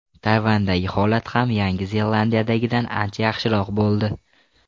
Tayvandagi holat ham Yangi Zelandiyadagidan ancha yaxshiroq bo‘ldi.